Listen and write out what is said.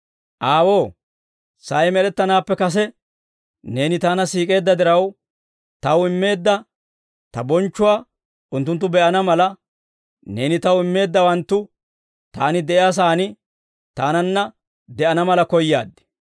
«Aawoo, sa'ay med'ettanaappe kase Neeni Taana siik'eedda diraw, Taw immeedda Ta bonchchuwaa unttunttu be'ana mala, Neeni Taw immeeddawanttu Taani de'iyaa sa'aan Taananna de'ana mala koyaad.